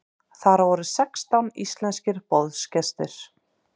Þar voru sextán íslenskir boðsgestir.